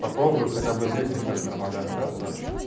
попробую хотя бы здесь начать нормально общаться